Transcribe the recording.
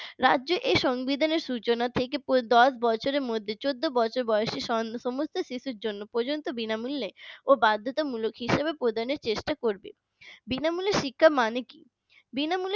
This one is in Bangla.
রাজ্যে এই সংবিধানের সূচনা থেকে দশ বছর বছরের মধ্যে চোদ্দ বছর বয়সী সমস্ত শিশুর জন্য পর্যন্ত বিনামূল্যে ও বাধ্যতামূলক হিসাবে প্রদানের চেষ্টা করবে বিনামূল্যে শিক্ষা মানে কি? বিনামূল্যে